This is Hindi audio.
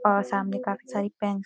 और सामने काफी सारी पेन --